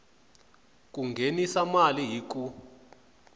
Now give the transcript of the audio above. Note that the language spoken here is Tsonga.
ku nghenisa mali hi ku